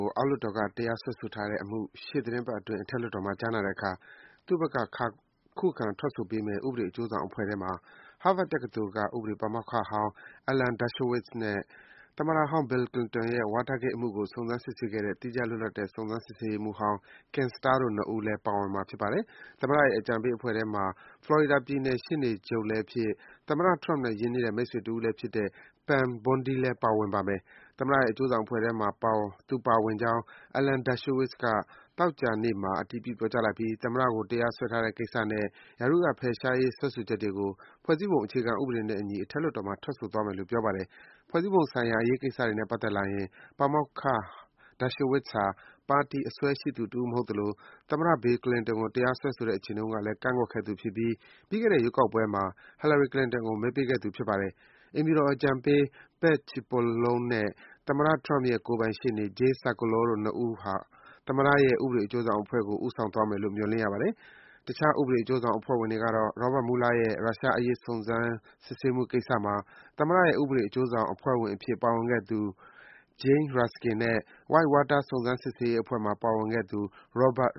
ို အောက်လွှတ်တော်က တရားစွဲဆိုထားတဲ့ အမှုကို ရှေ့သီတင်းပတ်အတွင်း အထက်လွှတ်တော်မှာ ကြားနာတဲ့အခါ သူ့ဘက်က ခုခံထွက်ဆိုပေးမယ့် ဥပဒေအကျိုးဆောင်အဖွဲ့ထဲမှာ Harvard တက္ကသိုလ်က ဥပဒေပါမောက္ခဟောင်း Alan Dershowitz နဲ့ သမ္မတဟောင်း Bill Clinton ရဲ့ Whitewater အမှုကို စုံစမ်း စစ်ဆေးခဲ့တဲ့ သီးခြားလွတ်လပ်တဲ့ စုံစမ်းစစ်ဆေးရေးမှူးဟောင်း Ken Starr တို့ ၂ ဦးပါ ပါဝင်မှာ ဖြစ်ပါတယ်။ သမ္မတရဲ့ ဥပဒေအကြံပေးအဖွဲ့ထဲမှာ ဖလော်ရီဒါပြည်နယ် ရှေ့နေချုပ်လည်းဖြစ်၊ သမ္မတ Trump နဲ့ ရင်းနှီးတဲ့ မိတ်ဆွေတဦးလည်းဖြစ်တဲ့ Pam Bondi လည်း ပါဝင်ပါမယ်။ သမ္မတရဲ့ ဥပဒေအကျိုးဆောင်အဖွဲ့ထဲမှာ သူပါဝင်ကြောင်း Alan Dershowitz က သောကြာနေ့မှာ အတည်ပြုပြောကြားလိုက်ပြီး သမ္မတကို တရားစွဲထားတဲ့ကိစ္စနဲ့ ရာထူးက ဖယ်ရှားရေး စွဲဆိုချက်တွေကို ဖွဲ့စည်းပုံအခြေခံဥပဒေနဲ့အညီ အထက်လွှတ်တော်မှာ ထွက်ဆိုသွားမယ်လို့ ပြောပါတယ်။ ဖွဲ့စည်းပုံဆိုင်ရာ အရေးကိစ္စတွေနဲ့ပတ်သက်လာရင် ပါမောက္ခ Dershowitz ဟာ ပါတီအစွဲ ရှိသူတဦးမဟုတ်သလို၊ သမ္မတ Bill Clinton ကို တရားစွဲတဲ့အချိန်တုန်းကလည်း ကန့်ကွက်ခဲ့သူဖြစ်ပြီး ပြီးခဲ့တဲ့ ရွေးကောက်ပွဲမှာ Hillary Clinton ကို မဲပေးခဲ့သူ ဖြစ်ပါတယ်။ အိမ်ဖြူတော်အကြံပေး Pat Cipollone နဲ့ သမ္မတ Trump ရဲ့ ကိုယ်ပိုင်ရှေ့နေ Jay Sekulow တို့ ၂ ဦးက သမ္မတရဲ့ ဥပဒေအကျိုးဆောင်အဖွဲ့ကို ဦးဆောင်သွားမယ်လို့ မျှော်လင့်ရပါတယ်။ တခြား ဥပဒေအကျိုးဆောင်အဖွဲ့ဝင်တွေကတော့ Robert Mueller ရဲ့ ရုရှားအရေးစုံစမ်းစစ်ဆေးမှုကိစ္စမှာ သမ္မတရဲ့ ဥပဒေအကျိုးဆောင်အဖွဲ့ဝင်အဖြစ် ပါဝင်ခဲ့သူ Jane Raskin နဲ့ Whitewater စုံစမ်း စစ်ဆေးရေးအဖွဲ့မှာ ပါဝင်ခဲ့သူ Robert